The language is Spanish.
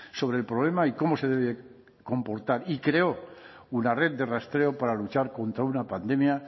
sobre el problema y cómo se debe comportar y creó una red de rastreo para luchar contra una pandemia